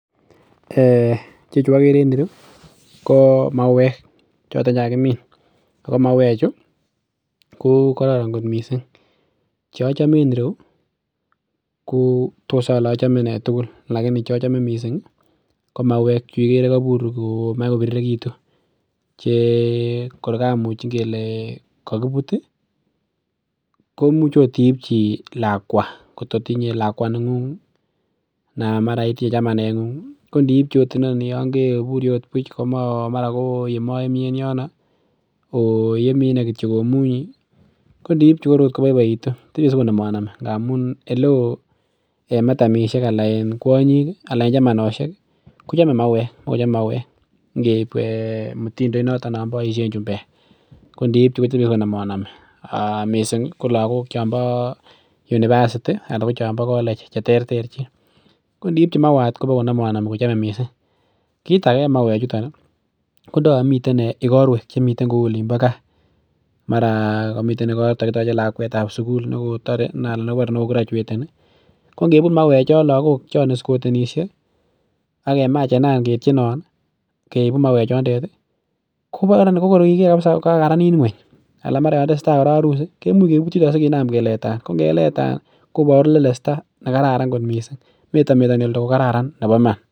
[um]chechu agere en ireu ko mawek choton chekakimin che kararan missing. Cheachome en yu ko tos ale achome nee tugul laini chachame missing ko mawek chukobur komach kobirirekitu che kor gamuch ingele kokibut ih komuch ot ibchi lakwa neng'ung'anan mara itinye chamanet ng'u kondi ibchi inoni yongeburi buch mara koyemati koemaemi en yono oyemi inei kityo omunyi koniibchi Kotor agot koboiboitu tebie sikonomanami ndamun oleo en kuany'ik anan chamanosiek kochame mawek keib mutindoit noto non boisien chumbek ko ndiitu kotebie sikonomanomi missing ko lakok chombo university anan ko chombo colleges cheter terchin ko niib chi mauwat koboko nomanomi ko chome missing kit age en mauwek chuton ko ndo Yoon miten igorwek kouu Olin bo gaa mara kakitoche lakuetab sugul nekotore ana neko kirachueteni ko ngebut mawechu lakok chon iskotenisie akemachenan ketienon keibu mawechu choton kokor iniker kabisa kokaranit ng'uany anan yotesetai keibu sekeleta , ko ngeleta ko metametani